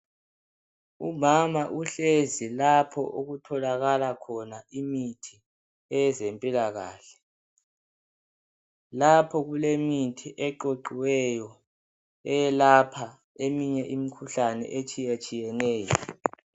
Umama uhlezi lapho okutholakala khona imithi yezempilakahle, lapha kulemithi eqoqiweyo eyelapha eminye imikhuhlane etshiyetshiyeneyo.